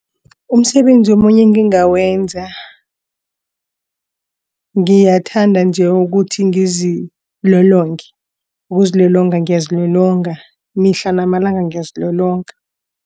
Umsebenzi omunye engingawenza ngiyathanda nje ukuthi ngizilolonge. Ukuzilolonga ngiyazilolonga mihla namalanga ngiyazilolonga.